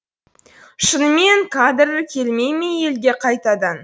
шынымен қадыр келмей ме елге қайтадан